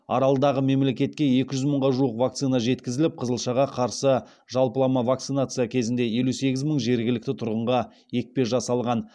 аралдағы мемлекетке екі жүз мыңға жуық вакцина жеткізіліп қызылшаға қарсы жалпылама вакцинация кезінде елу сегіз мың жергілікті тұрғынға екпе жасалған